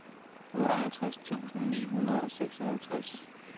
otteoghalvtreds tusind ni hundrede og seksoghalvtreds